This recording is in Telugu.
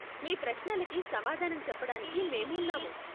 మీ ప్రశ్నలకి సమాధానం చెప్పడానికి మేము ఉన్నాము.